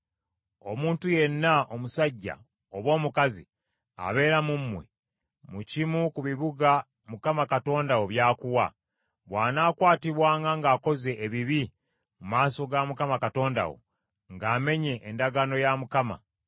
Omuntu yenna omusajja oba omukazi abeera mu mmwe, mu kimu ku bibuga Mukama Katonda wo by’akuwa, bw’anaakwatibwanga ng’akoze ebibi mu maaso ga Mukama Katonda wo, ng’amenye endagaano ya Mukama ,